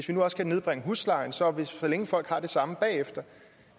vi også nedbringe huslejen så folk har det samme bagefter